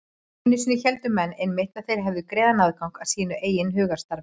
Einu sinni héldu menn einmitt að þeir hefðu greiðan aðgang að sínu eigin hugarstarfi.